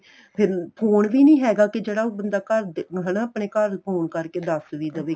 ਫੇਰ ਫੋਨ ਵੀ ਨੀਂ ਹੈਗਾ ਕੀ ਜਿਹੜਾ ਉਹ ਬੰਦਾ ਘਰ ਹਨਾ ਆਪਣੇ ਘਰ phone ਕਰਕੇ ਦੱਸ ਵੀ ਦਵੇ